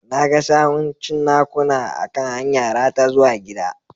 Na ga sawun cinnakuna a kan hanyara ta zuwa gida.